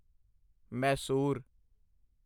Mysore